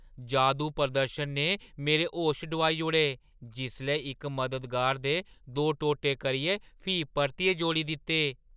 जादू प्रदर्शन ने मेरे होश डुआई ओड़े जिसलै इक मददगार दे दो टोटे करियै फ्ही परतियै जोड़ी दित्ते।